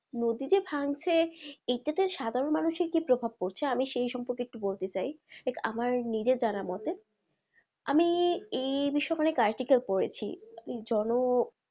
নদী যে ভাঙছে এইটা তে সাধারণ মানুষের কি প্রভাব পড়ছে? আমি সেই সম্পর্কে একটু বলতে চাই আমার নিজের জানা মতে আমি এই করেছি ওই জন,